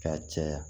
K'a caya